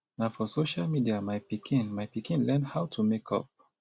na for social media my pikin my pikin learn how to make up